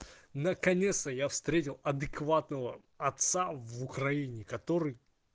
наконец-то я встретил адекватного отца в украине который